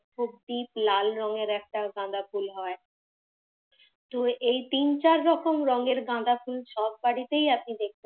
খুব deep লাল রঙের একটা গাঁদা ফুল হয়। তো এই তিন চার রকম রঙের গাঁদা ফুল সব বাড়িতেই আপনি দেখতে পাবেন।